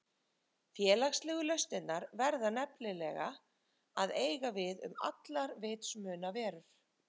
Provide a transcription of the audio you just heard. Félagslegu lausnirnar verða nefnilega að eiga við um allar vitsmunaverur.